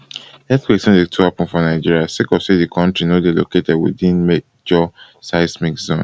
earthquakes no dey too happen for nigeria sake of say di kontri no dey located within di major seismic zones